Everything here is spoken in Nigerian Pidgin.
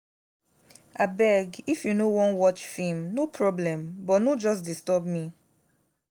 abeg if you no wan watch film no problem but no just disturb me